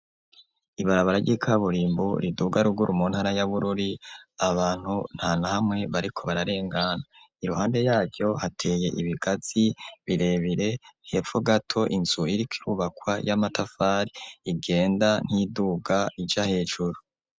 Ibarabara ry'ikaburimbu riduga ruguru mu ntara ya Bururi, abantu nta nahamwe bariko bararengana, iruhande yaryo hateye ibigazi birebire, hepfo gato inzu iriko irubakwa y'amatafari igenda nk'iyiduga ija hejuru.